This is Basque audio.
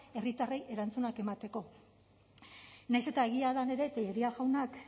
herritarrei erantzunak emateko nahiz eta egia den ere telleria jaunak